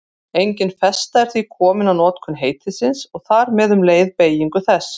Engin festa er því komin á notkun heitisins og þar með um leið beygingu þess.